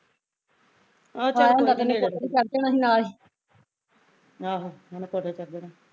ਉਹਨੇ ਕੋਠੇ ਤੇ ਚੜ ਜਾਣਾ ਸੀ ਨਾਲੇ